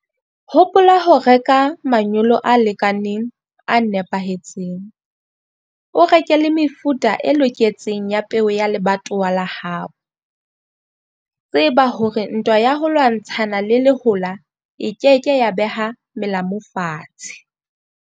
Hopola ho reka manyolo a lekaneng, a nepahetseng. O reke le mefuta e loketseng ya peo ya lebatowa la hao. Tseba hore ntwa ya ho lwantshana le lehola e ke ke ya beha melamu fatshe.